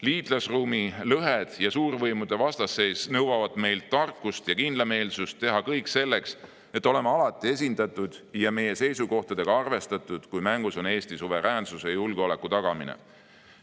Liitlasruumi lõhed ja suurvõimude vastasseis nõuavad meilt tarkust ja kindlameelsust teha kõik selleks, et oleme alati esindatud ja meie seisukohtadega on arvestatud, kui mängus on Eesti suveräänsuse ja julgeoleku tagamine.